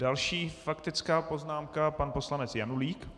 Další faktická poznámka - pan poslanec Janulík.